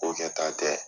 Ko kɛ ta tɛ